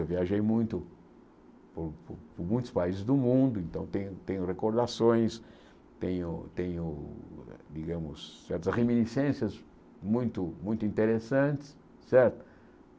Eu viajei muito por muitos países do mundo, então tenho tenho recordações, tenho tenho, digamos, certas reminiscências muito muito interessantes, certo?